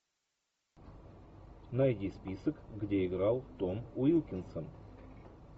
найди список где играл том уилкинсон